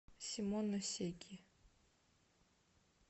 симоносеки